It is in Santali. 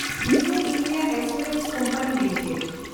new India assurance company limited